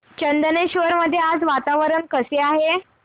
चंदनेश्वर मध्ये आज वातावरण कसे आहे